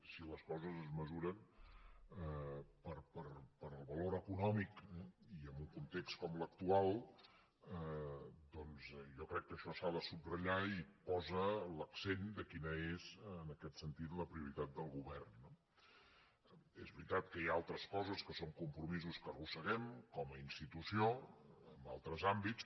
si les coses es mesuren pel valor econòmic i en un context com l’actual doncs jo crec que això s’ha de subratllar i posa l’accent de quina és en aquest sentit la prioritat del govern no és veritat que hi ha altres coses que són compromisos que arrosseguem com a institució en altres àmbits